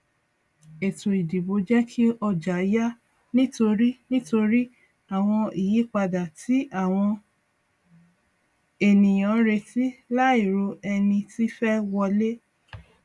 ètò ìdìbò jẹ kí ọjà yà nítorí nítorí àwọn ìyípadà tí àwọn ènìyàn retí láì ro ẹni tí fẹ wọlé